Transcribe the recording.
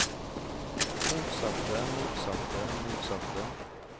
motsatte motsatte motsatte